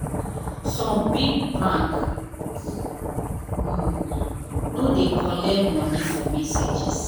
some big bank nor nor dey collect money for messages.